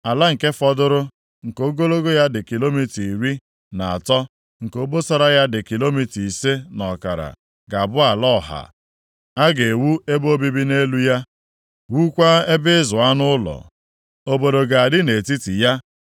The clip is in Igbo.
“Ala nke fọdụrụ, nke ogologo ya dị kilomita iri na atọ, nke obosara ya dị kilomita ise na ọkara ga-abụ ala ọha. A ga-ewu ebe obibi nʼelu ya, wukwaa ebe ịzụ anụ ụlọ. Obodo ga-adị nʼetiti ya,